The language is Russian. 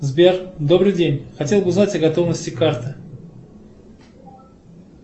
сбер добрый день хотел бы узнать о готовности карты